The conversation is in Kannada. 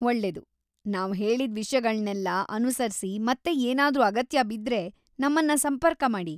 ‌ಒಳ್ಳೇದು! ನಾವ್ ಹೇಳಿದ್ ವಿಷ್ಯಗಳ್ನೆಲ್ಲ ಅನುಸರ್ಸಿ ಮತ್ತೆ ಏನಾದ್ರೂ ಅಗತ್ಯ ಬಿದ್ರೆ ನಮ್ಮನ್ನ ಸಂಪರ್ಕ ಮಾಡಿ.